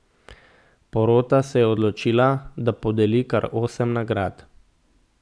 Porota se je odločila, da podeli kar osem nagrad.